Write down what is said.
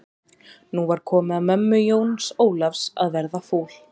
Nú var komið að mömmu Jóns Ólafs að verða fúl.